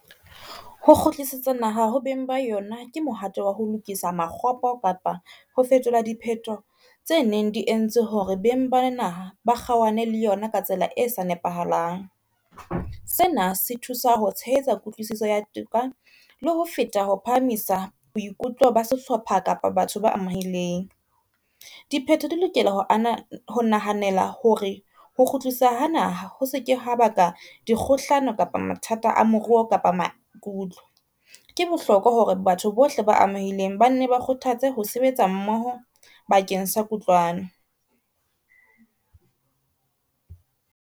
Ho kgutlisetsa naha ho beng ba yona ke mohato wa ho lokisa makgopo kapa ho fetola dipheto tse neng di entse hore beng ba naha ba kgaohane le yona ka tsela e sa nepahalang. Sena se thusa ho tshehetsa kutlwisiso ya toka le ho feta ho phahamisa boikutlo ba sehlopha kapa batho ba amehileng. Diphetho di lokela ho nahanela hore ho kgutlisa ha naha ho seke ha baka di kgohlano kapa mathata a moruo kapa maikutlo. Ke bohlokwa hore batho bohle ba amehileng ba nne ba kgothatse ho sebetsa mmoho bakeng sa kutlwano.